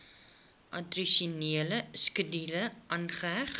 addisionele skedule aangeheg